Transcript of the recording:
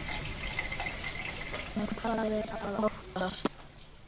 En hvað er að óttast?